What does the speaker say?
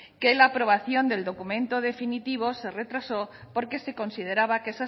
que la aprobación del documento definitivo se retrasó porque se consideraba que